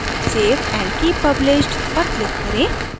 save and keep published पर click करें